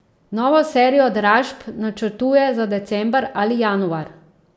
Novo serijo dražb načrtuje za december ali januar.